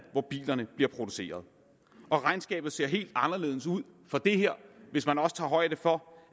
hvor bilerne bliver produceret regnskabet se helt anderledes ud hvis man også tager højde for